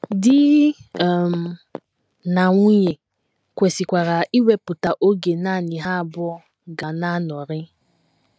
Di um na nwunye kwesịkwara iwepụta oge nanị ha abụọ ga na - anọrị.